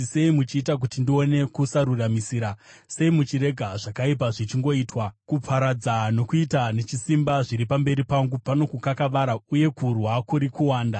Sei muchiita kuti ndione kusaruramisira? Sei muchirega zvakaipa zvichingoitwa? Kuparadza nokuita nechisimba zviri pamberi pangu; pano kukakavara, uye kurwa kuri kuwanda.